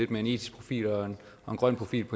med en etisk profil og en grøn profil